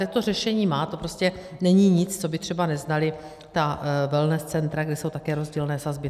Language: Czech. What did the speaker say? Tak to řešení má, to prostě není nic, co by třeba neznala ta wellness centra, kde jsou také rozdílné sazby.